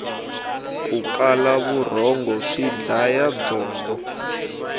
ku kala vurhongo swi dlaya byongo